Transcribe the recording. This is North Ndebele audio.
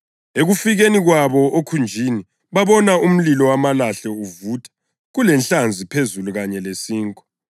Ekufikeni kwabo okhunjini babona umlilo wamalahle uvutha kulenhlanzi phezulu kanye lesinkwa.